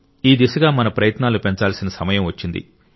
ఈ దిశగా మన ప్రయత్నాలను పెంచాల్సిన సమయం వచ్చింది